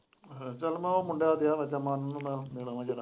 ਚੱਲ ਮੈਂ ਉਹ ਮੁੰਡਾ ਡਿਆ ਵਾਜਾਂ ਮਾਰਨ ਮੈਂ ਮਿਲ ਆਵਾਂ ਜ਼ਰਾ।